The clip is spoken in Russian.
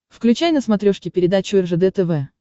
включай на смотрешке передачу ржд тв